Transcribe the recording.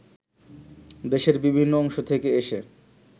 দেশের বিভিন্ন অংশ থেকে এসে